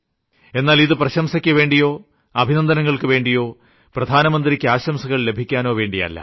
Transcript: എന്നാൽ ഇത് പ്രശംസക്കുവേണ്ടിയോ അഭിനന്ദനങ്ങൾക്കുവേണ്ടിയോ പ്രധാനമന്ത്രിയ്ക്ക് ആശംസകൾ ലഭിക്കാനോ വേണ്ടിയല്ല